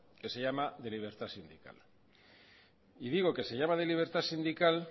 que se llama de libertad sindical y digo que se llama de libertad sindical